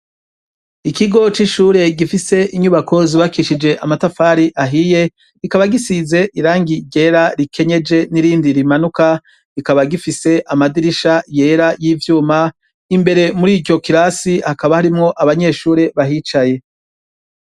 Ikigo c'ishure gifise inyubako zibakishije amatafari ahiye ikaba gisize irangi ryera rikenyeje n'irindi rimanuka rikaba gifise amadirisha yera y'ivyuma imbere muri iryo kirasi hakaba harimwo abanyeshure bahicaye.